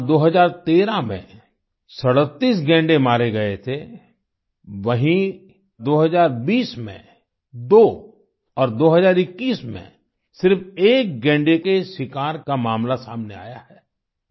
जहाँ 2013 में 37 गैंडे मारे गए थे वहीँ 2020 में 2 और 2021 में सिर्फ 1 गैंडे के शिकार का मामला सामने आया है